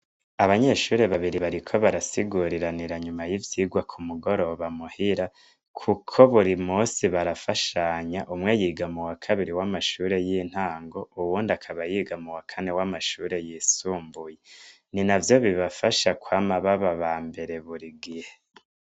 Abanyeshure babiri bariko barasiguriranira inyuma y'ivyigwa ku mugoroba muhira kuko buri musi barafashanya. Umwe yiga muwa kabiri w'amashure y'intango, uwundi akaba yiga muwa kane w'amashure yisumbuye. Ni navyo bibafasha kwama baba abambere buri gihe.